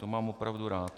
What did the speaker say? To mám opravdu rád.